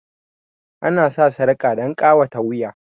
Ana sa sarƙa dan ƙawata wuya